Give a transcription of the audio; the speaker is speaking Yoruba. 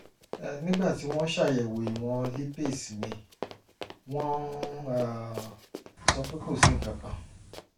nígbà tí wọ́n ṣàyẹ̀wò ìwọ̀n lípase mi wọ́n um sọ pé kò sí nǹkan kan